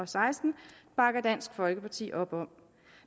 seksten bakker dansk folkeparti op om